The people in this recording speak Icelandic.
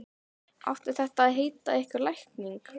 Átti þetta að heita einhver lækning?